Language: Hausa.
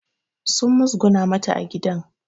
Sun muzguna mata a gidan